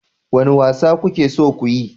Wane wasa kuke so ku yi?